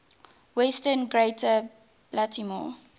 western greater baltimore